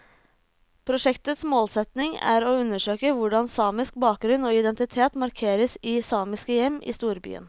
Prosjektets målsetning er å undersøke hvordan samisk bakgrunn og identitet markeres i samiske hjem i storbyen.